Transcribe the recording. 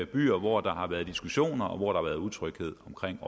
byer hvor der har været diskussioner og hvor der har været utryghed omkring